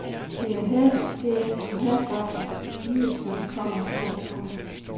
Det er her, det sker, og herfra fornyelserne kommer, når de kommer.